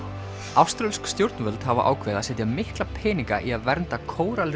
áströlsk stjórnvöld hafa ákveðið að setja mikla peninga í að vernda